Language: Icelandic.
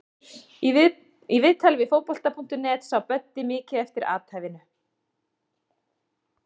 Í viðtali við Fótbolta.net sá Böddi mikið eftir athæfinu.